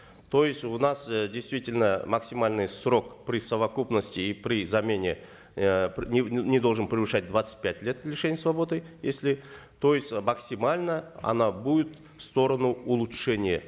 то есть у нас э действительно максимальный срок при совокупности и при замене э не не должен превышать двадцать пять лет лишения свободы если то есть максимально оно будет в сторону улучшения